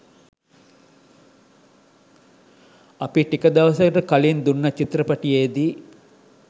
අපි ටික දවසකට කලින් දුන්න චිත්‍රපටියෙදි